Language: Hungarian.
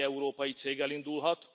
Bármely európai cég elindulhat.